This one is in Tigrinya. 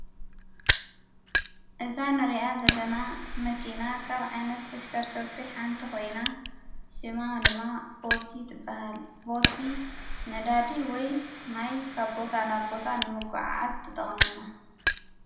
እዛ ንርኣ ዘለና መኪና ካብ ዓይነት ተሽከርከርቲ ሓንቲ ኾይና፤ ሽማ ድማ ቦቲ ትበሃል፡፡ ቦቲ ነዳዲ ወይ ማይ ካብ ቦታ ናብ ቦታ ንምጉዕዓዝ ትጠቕመና፡፡ ንዝተፈላለዩ ረሳሕ ፈሳሲ እውን ንምጉዕዓዝ ትጠቅም እያ፡፡